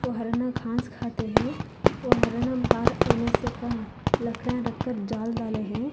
वह हरण घास खाते हैं वह हरण का लकड़ा रख कर जाल डाले हैं।